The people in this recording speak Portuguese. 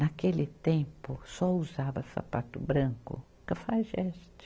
Naquele tempo, só usava sapato branco, cafajeste.